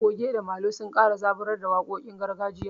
Goge da molo sun kara zaburar da waƙoƙin gargajiya.